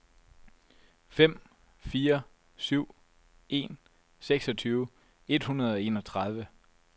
fem fire syv en seksogtyve et hundrede og enogtredive